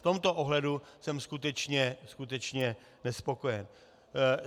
V tomto ohledu jsem skutečně nespokojen.